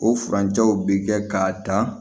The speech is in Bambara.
O furancɛw bɛ kɛ k'a dan